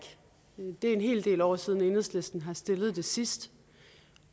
det er en hel del år siden at enhedslisten har stillet det sidst